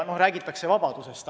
Jah, räägitakse vabadusest.